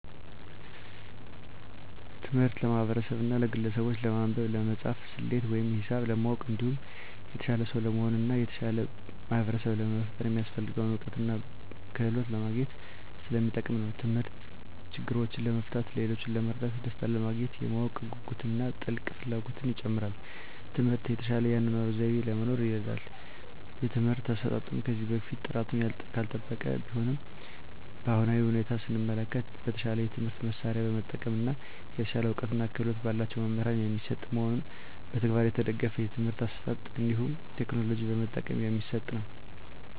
ትምህርት ለማህበርሰቡና ለግለሰቡች ለማንበብ፣ ለመፃፍና፣ ሰሌት ወይም ሂሳብ ለማወቅ እንዲሁም የተሻለ ሰው ለመሆን እና የተሻለ ማህበርሰብ ለመፍጠር የሚያሰፍልገውን እውቀትና ክህሎት ለማግኝት ሰለሚጠቅም ነው። ተምህርት ችግሮችን ለመፍታት፣ ሌሎችን ለመርዳት፣ ደሰታንለማግኘት፣ የማወቅ ጉጉትን እና ጥልቅ ፍላጎትን ይጨምራል። ትምህርት የተሻለ የአኗኗር ዘይቤ ለመኖር ይርዳል። የትምህርት አሰጣጡም ከዚህ በፊት ጥራቱን ያልጠበቀ ቢሆንም በአሁናዊ ሁኔታ ሰመለከት በተሻለ የትምህርት መሳርያ በመጠቀም እና የተሻለ እውቀትና ክህሎት በላቸው መምህራን የሚሰጥ መሆኑንና በተግባር የተደገፍ የትምህርት አሰጣጥ እንዲሁም ቴክኖሎጂ በመጠቀም የሚሰጥ ነው።